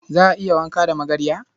Za a iya wanka da magarya?